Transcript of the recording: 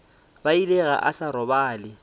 bile ga a sa robala